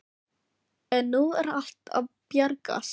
En nú er allt að bjargast.